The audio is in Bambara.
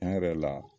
Tiɲɛ yɛrɛ la